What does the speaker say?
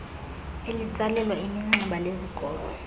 elitsalelwa iminxeba lezikolo